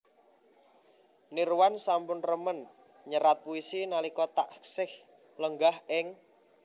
Nirwan sampun remen nyerat puisi nalika taksih lenggah ing